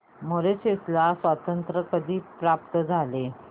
Mauritius ला स्वातंत्र्य कधी प्राप्त झाले